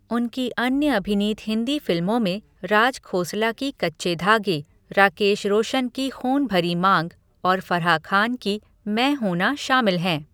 उनकी अन्य अभिनीत हिंदी फिल्मों में राज खोसला की कच्चे धागे, राकेश रोशन की ख़ून भरी मांग और फराह खान की मैं हूं ना शामिल हैं।